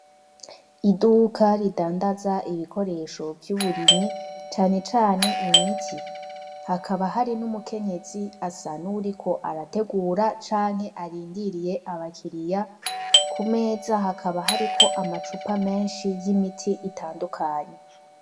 Iduka ridandaza ibikoresho vy'uburimyi cane cane imiti hakaba hari n'umukenyezi asa nuwuriko arategura canke arindiriye abakiriya kumeza hakaba hariko amacupa menshi y'imiti itandukanye.